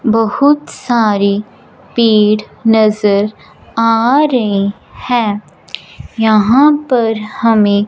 बहुत सारी पेड़ नजर आ रही हैं यहां पर हमें--